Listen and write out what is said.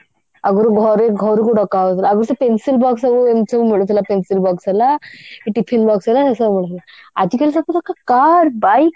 ଆଗରୁ ଘରେ ଘରକୁ ଡକା ହଉଥିଲା ଆଗରୁ ତ pencil box ସବୁ ଏମିତି ସବୁ ମିଳୁଥିଲା pencil box ହେଲା କି tiffin box ହେଲା ଏମିତି ସବୁ ଆଜିକାଲି ସବୁଲୋକ car bike